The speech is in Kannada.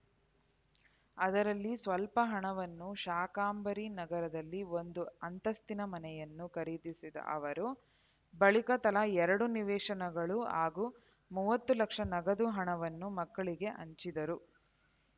ಅದರಲ್ಲಿ ಸ್ಪಲ್ಪ ಹಣವನ್ನು ಶಾಕಾಂಬರಿ ನಗರದಲ್ಲಿ ಒಂದು ಅಂತಸ್ತಿನ ಮನೆಯನ್ನು ಖರೀದಿಸಿದ ಅವರು ಬಳಿಕ ತಲಾ ಎರಡು ನಿವೇಶನಗಳು ಹಾಗೂ ಮೂವತ್ತು ಲಕ್ಷ ನಗದು ಹಣವನ್ನು ಮಕ್ಕಳಿಗೆ ಹಂಚಿದ್ದರು